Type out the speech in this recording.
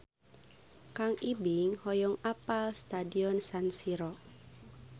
Kang Ibing hoyong apal Stadion San Siro